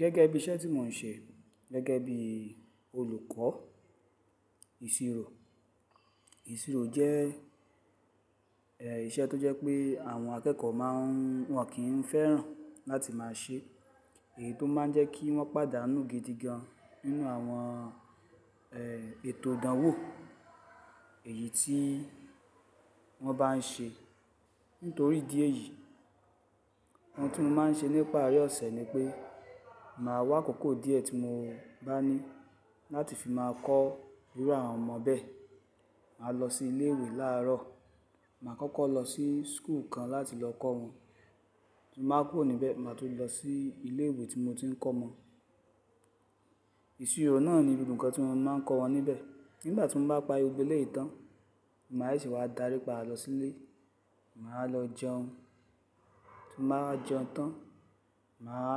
Gẹ́gẹ́ bí iṣẹ́ tí mò ń ṣe gẹ́gẹ́ bí olùkọ́ ìṣirò. Ìṣirò jẹ́ ìṣẹ́ tó jẹ́ pé àwọn akẹ́kọ̀ọ́ máa ń wọ́n kì n fẹ́ràn láti máa ṣe èyí tó máa ń jẹ́ kí wọ́n pàdánù gidi gan nínú àwọn ètò ìdánwò èyí tí wọ́n bá ń ṣe. Nítorí idi èyí, ohun tí mo máa ń ṣe nípari ọ̀sẹ̀ ni pé màá wá akòkó díẹ̀ tí mo bá ní láti fi máa kọ irú àwọn ọmọ bẹ́ẹ̀. Màá lọ sí ilé ìwé láàárọ̀. Màá kọ́kọ́ lọ sí school kan láti lọ kọ́ wọn. Tin ba kúrò ní ibẹ máa tun lọ sí ilé ìwé tí mo ti ń kọ́ mọ Ìṣirò náà ni gbogbo nkan tí mo máa ń kọ́ wọn níbẹ̀. Nígbà tí mo bá parí gbogbo eleyìí tán, máa sese wá darípa lọ sílé. Màá lọ jẹun, tí n bá wa jẹun tán, màwá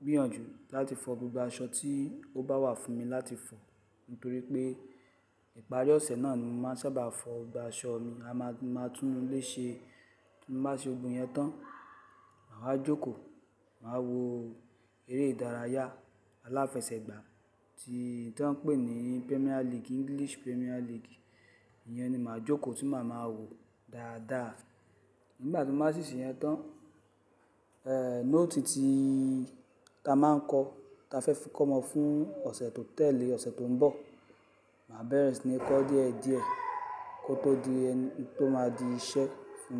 gbìyànjú láti fọ gbogbo aṣọ tí ó bá wà fún mi láti fọ nítorí pé ìparí ọ̀sẹ̀ náà ni mo máa n sábà fọ gbogbo aṣọ mi. Mo máa tún ile ṣe. Bí mo bá ṣe gbogbo iyẹn tán, màá wa jókòó. Màá wo eré ìdárayá aláfẹsẹ̀gbá tí wọ́n ń pè ní Premier League, English Premier League. Iyẹn ni màá jókòó tí màá máa wo dáadáa. Nígbà tí mo bá ṣí ṣeyẹn tán, è note tí ta máa ń kọ, ta fẹ́ fi kọ́ ọmo fún ọ̀sẹ̀ tó tẹ̀lé, ọ̀sẹ̀ tó ń bọ̀. Màá bẹ̀rẹ̀ sí ní kọ́ díẹ̀díẹ̀ kó tó di ẹni tó máa di iṣẹ́ fún mi.